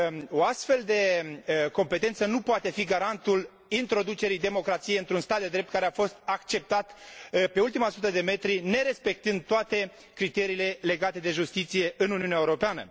O astfel de competență nu poate fi garantul introducerii democrației într un stat de drept care a fost acceptat pe ultima sută de metri, nerespectând toate criteriile legate de justiție, în Uniunea Europeană.